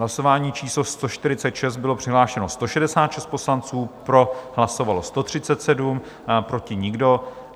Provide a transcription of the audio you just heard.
Hlasování číslo 146, bylo přihlášeno 166 poslanců, pro hlasovalo 137, proti nikdo.